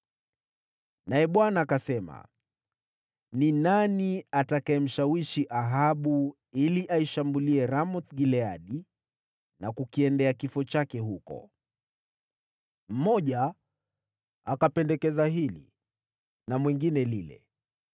Naye Bwana akasema, ‘Ni nani atakayemshawishi Ahabu ili aishambulie Ramoth-Gileadi na kukiendea kifo chake huko?’ “Mmoja akapendekeza hili na mwingine lile.